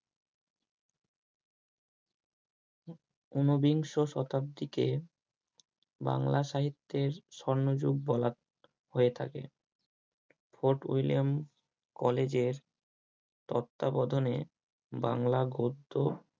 ঊনবিংশ শতাব্দীতে বাংলা সাহিত্যের স্বর্নযুগ বলা হয়ে থাকে। fort william college এর তত্ত্বাবধানে বাংলা গদ্য